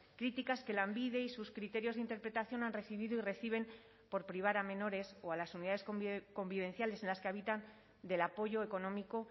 críticas que lanbide y sus criterios de interpretación han recibido y reciben por privar a menores o a las unidades convivenciales en las que habitan del apoyo económico